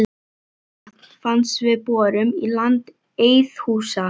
Heitt vatn fannst við borun í landi Eiðhúsa í